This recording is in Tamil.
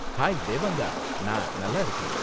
ஹாய் தேவாங்கா! நான் நல்லாருக்கேன்.